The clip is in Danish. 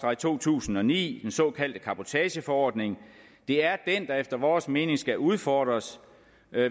2009 den såkaldte cabotageforordning det er den der efter vores mening skal udfordres